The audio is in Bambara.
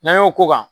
N'an y'o k'o kan